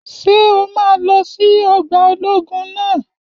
Ṣé o máa lọ sí ọgbà ológun naa?